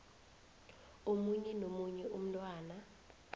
omunye nomunye umntwana